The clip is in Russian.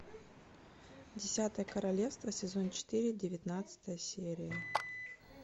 десятое королевство сезон четыре девятнадцатая серия